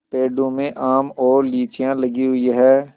पेड़ों में आम और लीचियाँ लगी हुई हैं